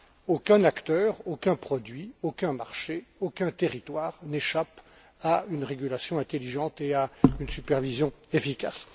aucun acteur, aucun produit, aucun marché, aucun territoire, n'échappe à une régulation intelligente et à une supervision efficace.